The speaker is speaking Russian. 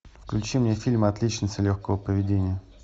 включи мне фильм отличница легкого поведения